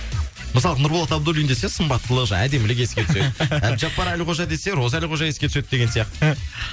мысалы нурболат абдуллин десе сымбаттылық жаңағы әдемілік еске түседі әбдіжаппар әлқожа десе роза әлқожа еске түседі деген сияқты